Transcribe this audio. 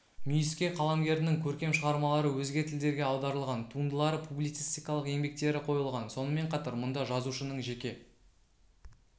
мүйіске қаламгердің көркем шығармалары өзге тілдерге аударылған туындылары публицистикалық еңбектері қойылған сонымен қатар мұнда жазушының жеке